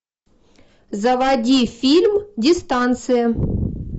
заводи фильм дистанция